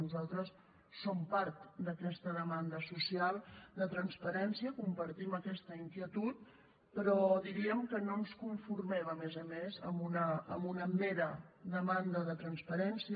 nosaltres som part d’aquesta demanda social de transparència compartim aquesta inquietud però diríem que no ens conformem a més a més amb una mera demanda de transparència